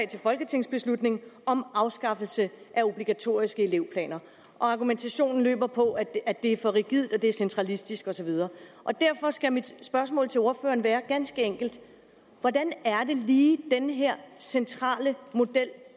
til folketingsbeslutning om afskaffelse af obligatoriske elevplaner og argumentationen går på at det er for rigidt og at det er centralistisk og så videre derfor skal mit spørgsmål til ordføreren være ganske enkelt hvordan er det lige den her centrale model